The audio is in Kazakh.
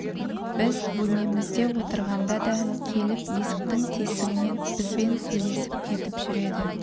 біз бөлмемізде отырғанда да келіп есіктің тесігінен бізбен сөйлесіп кетіп жүреді